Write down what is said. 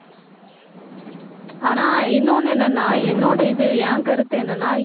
ஆனா, இன்னொன்னு என்னன்னா என்னோட இது என் கருத்து என்னன்னா